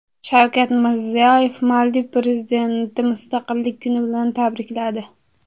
Shavkat Mirziyoyev Maldiv prezidentini Mustaqillik kuni bilan tabrikladi.